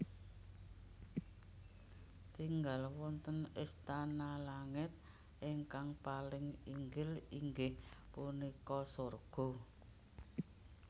Tingal wonten istana langit ingkang paling inggil inggih punika surga